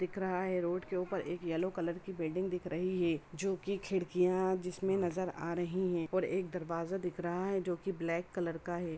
दिख रहा है। रोड के ऊपर एक येलो कलर की बिल्डिंग दिख रही है जो की खिड़कियां जिसमें नजर आ रही हैं और एक दरवाजा दिख रहा है जो की ब्लैक कलर का है।